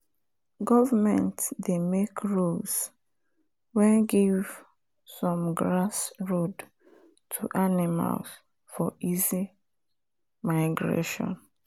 government doh make rules when give some grass road to animal for easy migration.